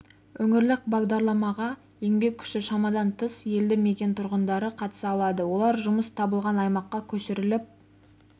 өңірлік бағдарламаға еңбек күші шамадан тыс елді мекен тұрғындары қатыса алады олар жұмыс табылған аймаққа көшіріліп